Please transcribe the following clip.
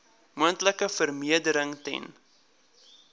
moontlike vervreemding ten